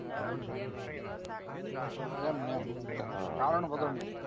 એમ એમ કારણ વગર નું